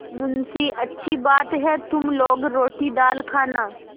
मुंशीअच्छी बात है तुम लोग रोटीदाल खाना